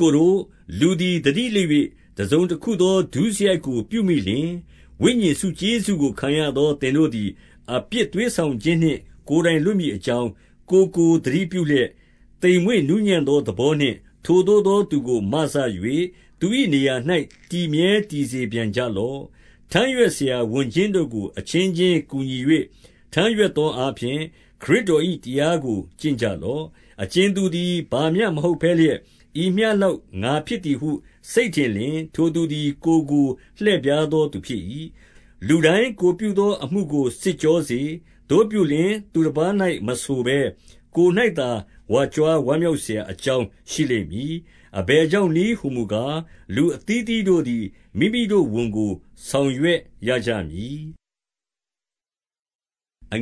ကိုတို့၊ လူသည်သတိလစ်၍ တစုံတခုသော ဒုစရိုက်ကိုပြုမိလျှင်၊ ဝိညာဉ်ဆုကျေးဇူးကို ခံရ သောသင်တို့သည် အပြစ်သွေးဆောင်ခြင်းနှင့် ကိုယ်တိုင်လွတ်မည်အကြောင်း၊ ကိုယ်ကိုသတိပြုလျက် သိမ်မွေ့ နူးညံ့သောသဘောနှင့် ထိုသို့သောသူကို မစ၍၊ သူ၏ နေရာ၌တည်မြဲ တည်စေပြန်ကြလော့။ 2 ထမ်းရွက်စရာဝန်ချင်းတို့ကို အချင်းချင်းကူညီ၍ ထမ်းရွက်သောအားဖြင့် ခရစ်တော်၏တရားကို ကျင့်ကြလော့။ 3 အကြင်သူသည်ဘာမျှမဟုတ်ဘဲလျက်၊ ဤမျှလောက်ငါဖြစ်သည်ဟုစိတ်ထင်လျှင်၊ ထိုသူသည် ကိုယ်ကို လှည့်ဖြားသောသူဖြစ်၏။ 4 လူတိုင်းကိုယ်တိုင်ပြုသောအမှုကို စစ်ကြောစေ။ သို့ပြုလျှင် သူတပါး၌မဆိုဘဲ ကိုယ်၌သာ ဝါကြွား ဝမ်းမြောက်စရာ အကြောင်းရှိလိမ့်မည်။ 5 အဘယ်ကြောင့်နည်းဟူမူကား၊ လူအသီးသီးတို့သည် မိမိတို့ဝန်ကို ဆောင်ရွက်ရကြမည်။ 6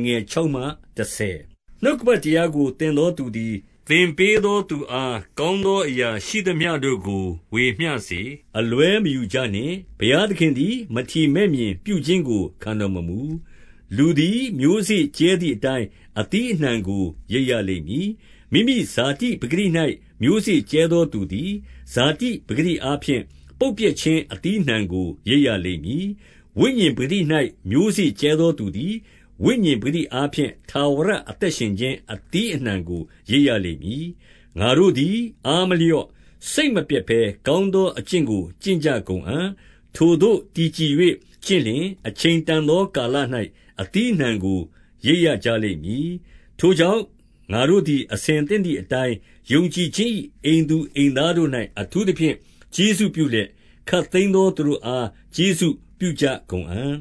နှုတ်ကပတ်တရားကို သင်သောသူသည် သင်ပေးသောသူအား ကောင်းသောအရာရှိသမျှတို့ကို ဝေမျှစေ။ 7 အလွဲမယူကြနှင့်။ ဘုရားသခင်သည် မထီမဲ့မြင်ပြုခြင်းကို ခံတော်မမူ။ လူသည်မျိုးစေ့ကြဲသည်အတိုင်း အသီးအနှံကိုရိတ်ရလိမ့်မည်။ 8 မိမိဇာတိပကတိ၌ မျိုးစေ့ကြဲသောသူသည် ဇာတိပကတိအားဖြင့် ပုပ်ပျက်ခြင်းအသီးအနှံကို ရိတ်ရလိမ့် မည်။ ဝိညာဉ်ပကတိ၌ မျိုးစေ့ကြဲသောသူသည် ဝိညာဉ်ပကတိအားဖြင့် ထာဝရအသက်ရှင်ခြင်း အသီးအနှံကို ရိတ်ရလိမ့်မည်။ 9 ငါတို့သည်အားမလျော့၊ စိတ်မပျက်ဘဲ ကောင်းသောအကျင့်ကို ကျင့်ကြကုန်အံ့။ ထိုသို့တည်ကြည်၍ ကျင့်လျှင် အချိန်တန်သောကာလ၌ အသီးအနှံကို ရိတ်ရကြလိမ့်မည်။ 10 ထိုကြောင့်ငါတို့သည် အဆင်သင့်သည်အတိုင်း ယုံကြည်ခြင်း၏ အိမ်သူအိမ်သားတို့၌ အထူးသဖြင့် ကျေးဇူးပြုလျက်၊ ခပ်သိမ်းသောသူတို့အား ကျေးဇူးပြုကြကုန်အံ့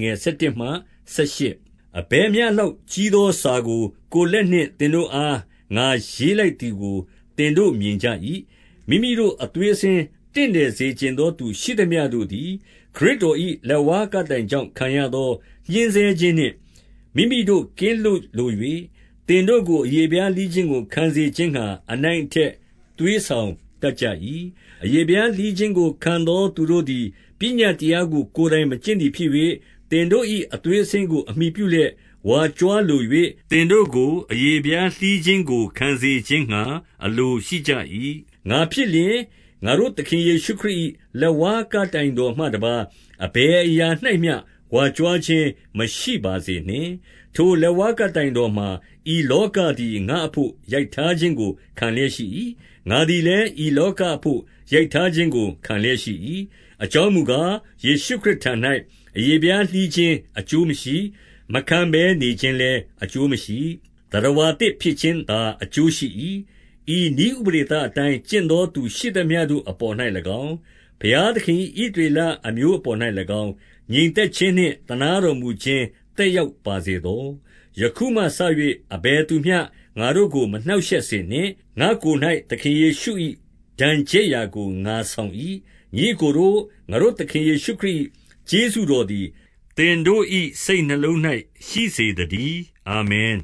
။ 11 အဘယ်မျှလောက်ကြီးသောစာကို ကိုယ်လက်နှင့်သင်တို့အား ငါရေးလိုက်သည်ကို သင်တို့မြင်ကြ၏။ 12 မိမိတို့အသွေးအဆင်း တင့်တယ်စေချင်သော သူရှိသမျှတို့သည် ခရစ်တော်၏လက်ဝါးကပ်တိုင်ကြောင့် ခံရသောညှဉ်းဆဲခြင်းနှင့် မိမိတို့ကင်းလွတ်လို၍၊ သင်တို့ကို အရေဖျားလှီးခြင်းကို ခံစေခြင်းငှါ အနိုင်အ ထက်သွေးဆောင်တတ်ကြ၏။ 13 အရေဖျားလှီးခြင်းကိုခံသောသူတို့သည် ပညတ်တရားကို ကိုယ်တိုင်မကျင့်သည်ဖြစ်၍၊ သင်တို့၏ အသွေး အဆင်းကို အမှီပြုလျက်ဝါကြွားလို၍ သင်တို့ကို အရေဖျားလှီးခြင်းကိုခံစေခြင်းငှါ အလိုရှိကြ၏။ 14 ငါဖြစ်လျှင်၊ ငါတို့သခင်ယေရှုခရစ်၏ လက်ဝါးကပ်တိုင်တော်မှတပါးဘယ်အရာ၌မျှ ဝါကြွားခြင်းမရှိ ပါစေနှင့်။ ထိုလက်ဝါးကပ်တိုင်တော်မှာ ဤလောကသည် ငါ့အဘို့ ရိုက်ထားခြင်းကိုခံလျက်ရှိ၏။ ငါသည် လည်း ဤလောကအဘို့ ရိုက်ထားခြင်းကိုခံလျက်ရှိ၏။ 15 အကြောင်းမူကား၊ ယေရှုခရစ်ထံ၌ အရေဖျားလှီးခြင်းအကျိုးမရှိ။ မခံဘဲနေခြင်းလည်း အကျိုးမရှိ။ သတ္တဝါသစ်ဖြစ်ခြင်းသာ အကျိုးရှိ၏။ 16 ဤနည်းဥပဒေသအတိုင်းကျင့်သော သူရှိသမျှ တို့အပေါ်၌၎င်း၊ ဘုရားသခင်၏ ဣသရေလ အမျိုး အပေါ်၌၎င်း၊ ငြိမ်သက်ခြင်းနှင့်သနားတော်မူခြင်း သက်ရောက်ပါစေသော။ 17 ယခုမှစ၍ အဘယ်သူမျှငါ့ကို မနှောက်ရှက်စေနှင့်။ ငါ့ကိုယ်၌ သခင်ယေရှုဒဏ်ချက်ရာကို ငါဆောင် ၏။ 18 ညီအစ်ကိုတို့၊ ငါတို့သခင်ယေရှု၏ ကျေးဇူးတော်သည် သင်တို့၏စိတ်နှလုံး၌ ရှိစေသတည်း။ အာမင်